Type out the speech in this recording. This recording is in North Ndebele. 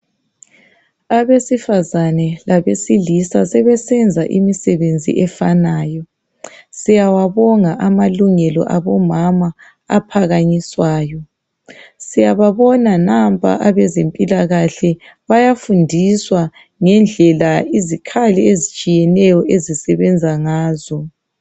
Abesifazane labesilisa sebesenza imisebenzi efanayo. Siyawabonga amalungelo abomama aphakanyiswayo .Siyababona nampa abezempilakahle bayafundiswa ngendlela izikhali ezitshiyeneyo ezisebenza ngazo.